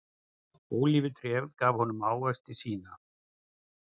Ólífutréð gaf honum ávexti sína.